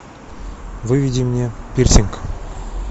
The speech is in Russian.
выведи мне пирсинг